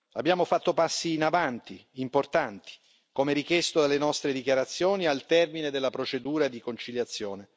Abbiamo fatto passi in avanti, importanti, come richiesto dalle nostre dichiarazioni al termine della procedura di conciliazione.